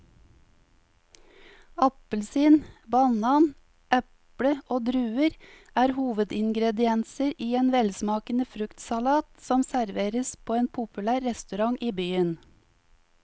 Appelsin, banan, eple og druer er hovedingredienser i en velsmakende fruktsalat som serveres på en populær restaurant i byen.